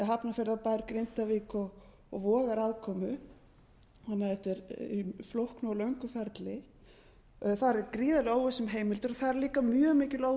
hafnarfjarðarbær grindavík og vogar aðkomu þannig að þetta er í flóknu og löngu ferli þar er gríðarleg óvissa um heimildir og þar er líka mjög mikil óvissa